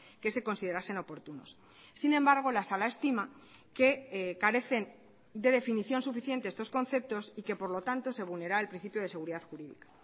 que se considerasen oportunos sin embargo la sala estima que carecen de definición suficiente estos conceptos y que por lo tanto se vulnera el principio de seguridad jurídica